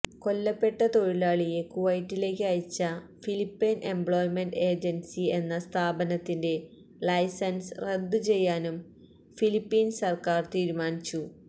കൊല്ലപ്പെട്ട തൊഴിലാളിയെ കുവൈത്തിലേക്ക് അയച്ച ഫിലിപ്പൈന് എംപ്ലോയ്മെന്റ് ഏജന്സി എന്ന സ്ഥാപനത്തിന്റെ ലൈസന്സ് റദ്ദ് ചെയ്യാനും ഫിലിപ്പീന് സര്ക്കാര് തീരുമാനിച്ചു